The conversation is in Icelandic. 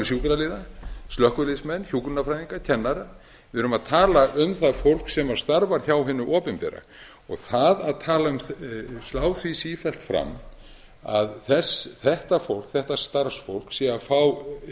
sjúkraliða slökkviliðsmenn hjúkrunarfræðinga kennara við erum að tala um það fólk sem starfar hjá hinu opinbera og það að slá því sífellt fram að þetta starfsfólk sé að fá